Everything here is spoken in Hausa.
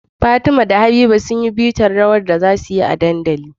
Fatima da habiba sunyi bitar rawar da zasuyi a dandali